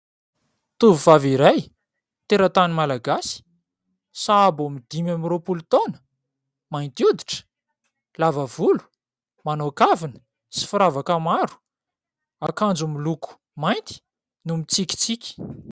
Tovovavy iray teratany Malagasy, sahabo aminy dimy amby roapolo taona, mainty hoditra, lava volo, manao kavina sy firavaka maro, akanjo miloko mainty, no mitsikitsiky.